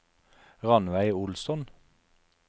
Rannveig Olsson